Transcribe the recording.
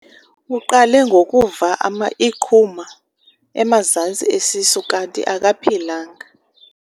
Uqale ngokuva iqhuma emazantsi esisu kanti akaphilanga.